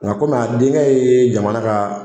Nka komi a denkɛ ye jamana ka